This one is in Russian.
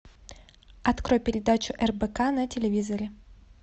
открой передачу рбк на телевизоре